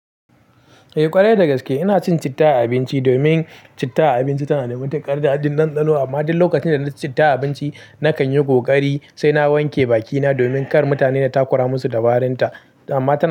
Eh ƙwarai dagaske ina cin citta a abinci domin citta a abinci tana da matuƙar daɗi ɗanɗano amma duk lokacin da na ci citta a abinci na kan yi ƙoƙari sai na wanke bakina domin kar mutane na takura mu su da warin ta amma ta na.